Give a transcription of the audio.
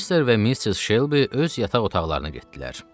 Mister və Missis Şelbi öz yataq otaqlarına getdilər.